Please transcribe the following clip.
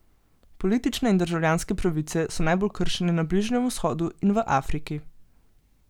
Politične in državljanske pravice so najbolj kršene na Bližnjem vzhodu in v Afriki.